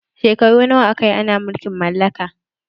Shekaru nawa aka yi ana mulkin mallaka?